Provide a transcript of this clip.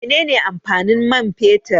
Mene ne amfanin mai fetur?